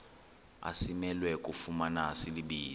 asimelwe kufumana silibize